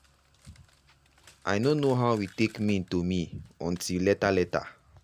i no know how e take mean to me until later later.